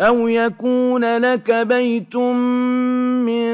أَوْ يَكُونَ لَكَ بَيْتٌ مِّن